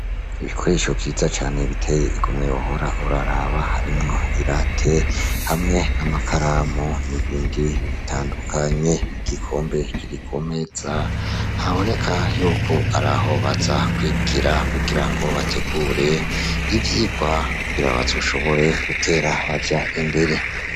Ibikoresho vyiza cane biteye igomwe wohora uraraba, harimwo i rate hamwe n'amakaramu n'ibindi bitandukanye, igikombe kiri kumeza haboneka ko ariho baza kwigira ivyirwa kugira bazoshobore gutera baja imbere.